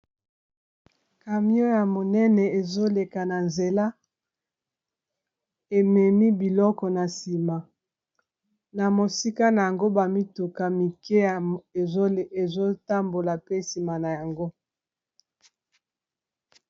kamion ya monene ezoleka na nzela ememi biloko na nsima na mosika na yango bamituka mike y ezotambola pe nsima na yango.